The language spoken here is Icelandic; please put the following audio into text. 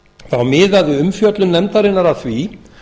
þá miðaði umfjöllun nefndarinnar að því